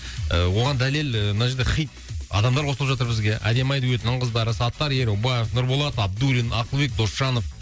ы оған дәлел мына жерде хит адамдар қосылып жатыр бізге әдемі ай дуэтінің қыздары саттар ерубаев нұрболат абдуллин ақылбек досжанов